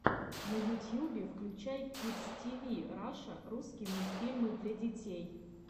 на ютьюбе включай кидс тиви раша русский мультфильмы для детей